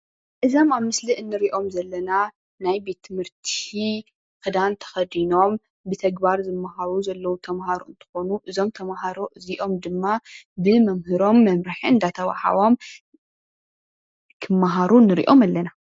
እዞም ኣብ ምስሊ እንርኢዮም ዘለና ናይ ቤት ትምህርቲ ክዳን ተኸዲኖም ብተግባር ዝማሃሩ ዘለዉ ተማሃሮ እንትኾኑ እዞም ተማሃሮ እዚኦም ድማ ብመምህሮም መምርሒ እንዳተዋሃቦም ክማሃሩ ንሪኦም ኣለና።